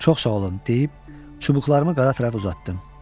Çox sağ olun deyib çubuqlarımı qara tərəf uzatdım.